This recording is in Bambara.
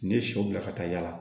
N'i ye sɔ bila ka taa yaala